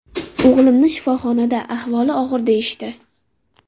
O‘g‘limni shifoxonada, ahvoli og‘ir deyishdi.